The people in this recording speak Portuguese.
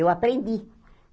Eu aprendi.